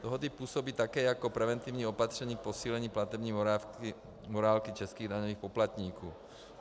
Dohody působí také jako preventivní opatření k posílení platební morálky českých daňových poplatníků.